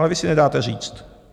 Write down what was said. Ale vy si nedáte říct.